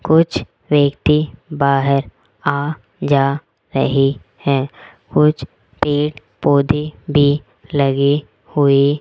कुछ व्यक्ति बाहर आ जा रहे है कुछ पेड़ पौधे भी लगे हुए --